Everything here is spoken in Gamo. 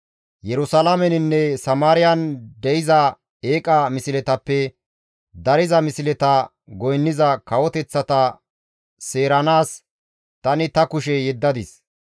Yerusalaameninne Samaariyan de7iza eeqa misletappe dariza misleta goynniza kawoteththata seeranaas tani ta kushe yeddadis.